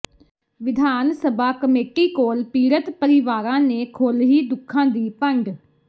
ਵਿਧਾਨ ਸਭਾ ਕਮੇਟੀ ਕੋਲ ਪੀੜਤ ਪਰਿਵਾਰਾਂ ਨੇ ਖੋਲ੍ਹੀ ਦੁੱਖਾਂ ਦੀ ਪੰਡ